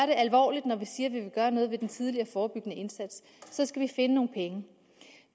det alvorligt når vi siger at vi vil gøre noget ved den tidlige forebyggende indsats så skal finde nogle penge